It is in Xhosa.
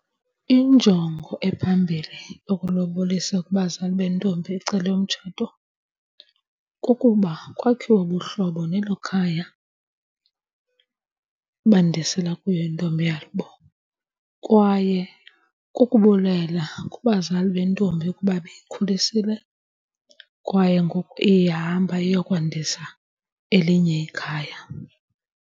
Injongo ephambili okulobolisa kubazali bentombi ecelwe umtshato kukuba kwakhiwe ubuhlobo nelo khaya bandisela kuyo intombi yabo. Kwaye kukubulela kubazali bentombi ukuba beyikhulisile kwaye ngoku ihamba iyokwandisa elinye ikhaya.